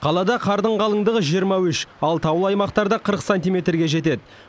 қалада қардың қалыңдығы жиырма үш ал таулы аймақтарда қырық сантиметрге жетеді